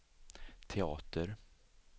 teater